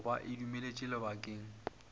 go ba e dumeletšwe lebakeng